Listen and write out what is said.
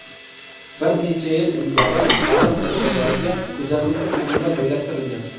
Bir necha yil ilgari baliq oshqozoniga kuzatuvchi qurilma joylashtirilgan.